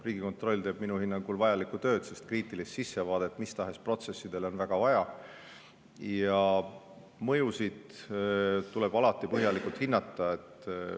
Riigikontroll teeb minu hinnangul vajalikku tööd, sest kriitilist sissevaadet mis tahes protsessidesse on väga vaja ja mõjusid tuleb alati põhjalikult hinnata.